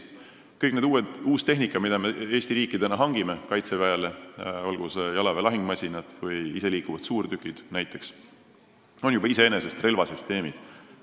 Kõik see uus tehnika, mida Eesti riik Kaitseväele hangib, olgu need näiteks jalaväe lahingumasinad või iseliikuvad suurtükid, on juba iseenesest relvasüsteemid.